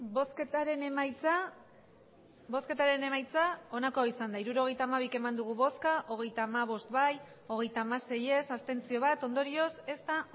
hirurogeita hamabi eman dugu bozka hogeita hamabost bai hogeita hamasei ez bat abstentzio ondorioz ez da